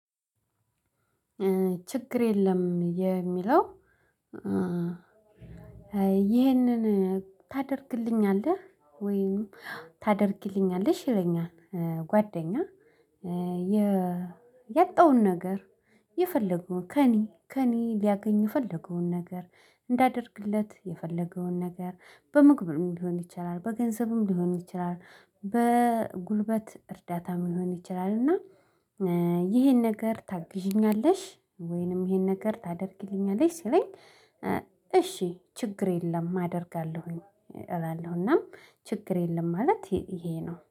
ችግር የለም የሚለው ይህንን ታደርግልኛለህ ወይም ታደርግሊኛለሽ ይለኛል ጓደኛ የያጣውን ነገር የፈለገው ከእኔ ከእኔ ሊያገኝ የፈለገውን ነገር እንዳደርግለት የፈለገውን ነገር በምግብም ሊሆን ይችላል፣ በገንዘብም ሊሆን ይችላል፣ በጉልበት እርዳታ ሊሆን ይችላል እና ይሄን ነገር ታግዢኛለሽ ወይንም ይሄን ነገር ታደርጊልኛለሽ ስለኝ እሺ ችግር የለም አደርጋለሁኝ እላለሁ እና ችግር የለም ማለት ይሄ ነው።